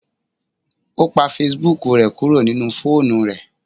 O pa Facebook rẹ kuro ninu foonu rẹ.